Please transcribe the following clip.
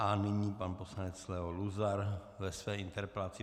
A nyní pan poslanec Leo Luzar ve své interpelaci.